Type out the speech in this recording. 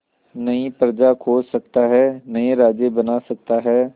नई प्रजा खोज सकता है नए राज्य बना सकता है